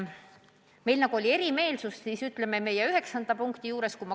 Meil oli erimeelsus üheksanda punkti puhul.